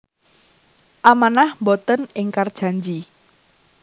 Amanah Mboten ingkar janji